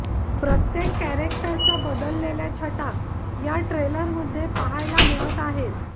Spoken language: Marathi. प्रत्येक कॅरेक्टरच्या बदललेल्या छटा या ट्रेलरमध्ये पाहायला मिळत आहेत